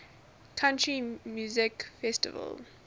country music festival